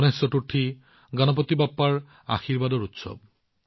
গণেশ চতুৰ্থী অৰ্থাৎ গণপতি বাপ্পাৰ আশীৰ্বাদৰ উৎসৱ